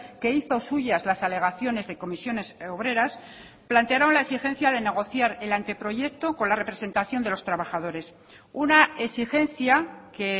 que hizo suyas las alegaciones de comisiones obreras plantearon la exigencia de negociar el anteproyecto con la representación de los trabajadores una exigencia que